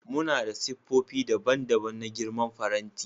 Muna da siffofi daban-daban da girman faranti.